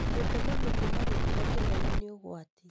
Gũtema mĩtĩ na gĩkĩro kĩnene nĩ ũgwati